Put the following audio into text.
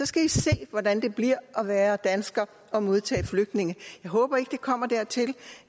skal i se hvordan det bliver at være dansker og modtage flygtninge jeg håber ikke det kommer dertil